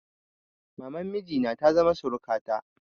Maman miji na ta zama surukata.